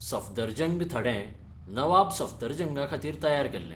सफदरजंग थडें नवाब सफदरजंगाखातीर तयार केल्लें.